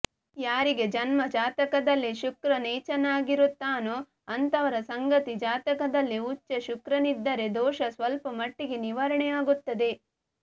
ಯಾರಿಗೆ ಜನ್ಮ ಜಾತಕದಲ್ಲಿ ಶುಕ್ರ ನೀಚನಾಗಿರುತ್ತಾನೋ ಅಂಥವರ ಸಂಗಾತಿ ಜಾತಕದಲ್ಲಿ ಉಚ್ಚ ಶುಕ್ರನಿದ್ದರೆ ದೋಷ ಸ್ವಲ್ಪ ಮಟ್ಟಿಗೆ ನಿವಾರಣೆ ಆಗುತ್ತದೆ